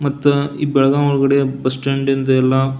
ಮತ್ತ ಈ ಬೆಲಗಾವ್ ಒಳಗಡೆ ಬುಸ್ಸ್ಟ್ಯಾಂಡಿಂದ್ ಎಲ್ಲ --